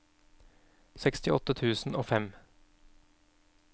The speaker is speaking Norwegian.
sekstiåtte tusen og fem